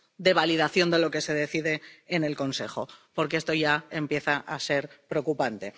de validación de lo que se decide en el Consejo, porque esto ya empieza a ser preocupante.